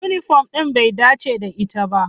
Yunifom ɗin bai dace da ita ba.